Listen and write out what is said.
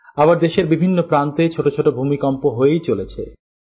আবার দেশের বিভিন্ন প্রান্তে ছোট ছোট ভূমিকম্প হয়েই চলেছে